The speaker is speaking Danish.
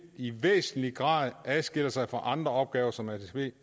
i væsentlig grad adskiller sig fra andre opgaver som atp